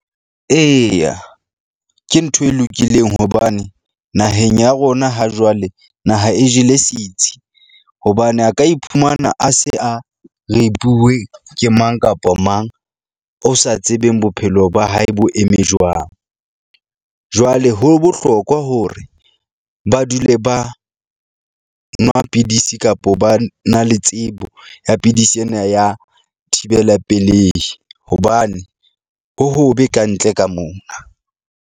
Eya, ke ntho e lokileng hobane naheng ya rona ha jwale naha e jele sitsi hobane a ka iphumana a se a ke mang kapa mang o sa tsebeng bophelo ba hae bo eme jwang. Jwale ho bohlokwa hore ba dule ba nwa pidisi kapo ba na le tsebo ya pidisi ena ya thibela pelehi hobane ho hobe ka ntle ka mona.